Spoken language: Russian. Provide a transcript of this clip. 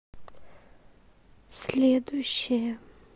следующая